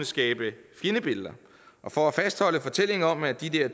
skabe fjendebilleder og for at fastholde fortællingen om at de